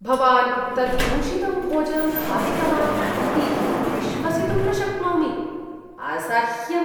भवान् तत् दूषितं भोजनं खादितवान् इति विश्वसितुं न शक्नोमि। असह्यम्!